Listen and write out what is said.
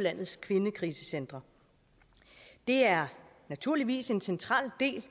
landets kvindekrisecentre det er naturligvis en central del